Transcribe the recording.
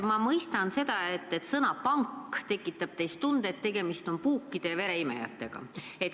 Ma mõistan, et sõna "pank" tekitab teis tunde, et tegemist on puukide ja vereimejatega.